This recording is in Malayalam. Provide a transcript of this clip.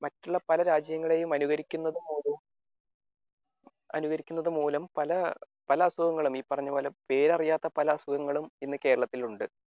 മറ്റുള്ള പല രാജ്യങ്ങളെ അനുകരിക്കുന്നത് മൂലം അനുകരിക്കുന്നത് മൂലം പല അസുഖങ്ങളും ഈ പറഞ്ഞപോലെ പേരറിയാത്ത പല അസുഖങ്ങളും ഇന്ന് കേരളത്തിൽ ഉണ്ട്